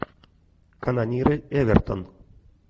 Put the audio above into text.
канониры эвертон